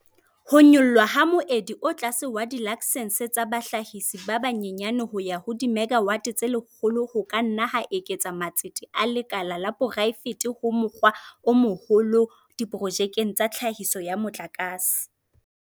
Ho nyollwa ha moedi o tlase wa dilaksense tsa bahlahisi ba banyenyane ho ya ho dimegawate tse 100 ho ka nna ha eketsa matsete a lekala la poraefete ka mokgwa o moholo diprojekteng tsa tlhahiso ya motlakase.